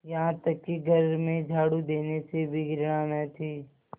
यहाँ तक कि घर में झाड़ू देने से भी घृणा न थी